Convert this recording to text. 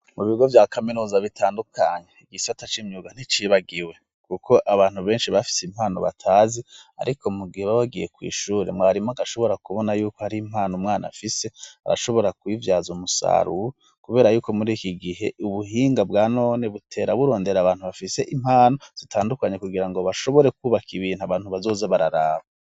Mu bigo vya kaminuza bitandukanye igisata c'imyuga nticibagiwe, kuko abantu benshi bafise impano batazi, ariko mu gihe babagiye kw'ishure mwarimwo agashobora kubona yuko ari impana umwana afise arashobora kubivyaza umusaruro, kubera yuko muri iki gihe ubuhinga bwa none butera burondera abantu bafise impano zitandukanye kugira ngo bashobore kwubaka ibintu abantu bazoza bararaba.